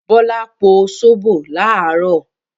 Bọ́lá po sóbò láàárọ̀.